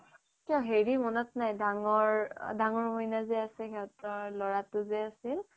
তোৰ হেৰী মনত নাই ডাঙৰ মইনা যে আছে সিহঁতৰ লৰাটো যে আছিল